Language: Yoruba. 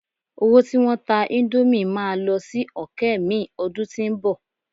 owo tí won ta Indomie ma lọ sí òkè mi ọdún tínbọ̀